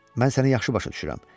Mən səni yaxşı başa düşürəm.